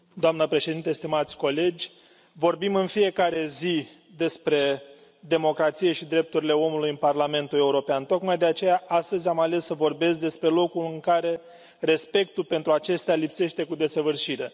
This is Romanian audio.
Doamnă președintă, stimați colegi, vorbim în fiecare zi despre democrație și drepturile omului în Parlamentul European. Tocmai de aceea am ales astăzi să vorbesc despre locul în care respectul pentru acesta lipsește cu desăvârșire.